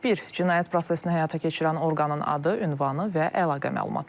Bir, cinayət prosesini həyata keçirən orqanın adı, ünvanı və əlaqə məlumatları.